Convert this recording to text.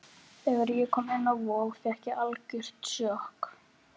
Þegar ég kom inn á Vog fékk ég algjört sjokk.